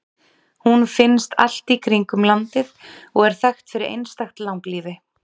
Hún finnst allt í kringum landið og er þekkt fyrir einstakt langlífi.